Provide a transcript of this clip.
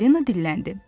Falina dilləndi.